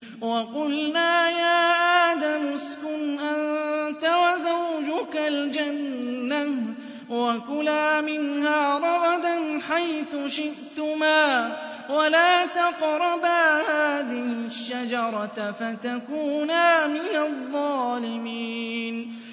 وَقُلْنَا يَا آدَمُ اسْكُنْ أَنتَ وَزَوْجُكَ الْجَنَّةَ وَكُلَا مِنْهَا رَغَدًا حَيْثُ شِئْتُمَا وَلَا تَقْرَبَا هَٰذِهِ الشَّجَرَةَ فَتَكُونَا مِنَ الظَّالِمِينَ